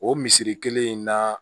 O misiri kelen in na